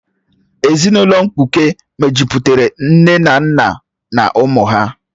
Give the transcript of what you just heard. Ezinụlọ mkpuke mejupụtara nne na nna na ụmụ ha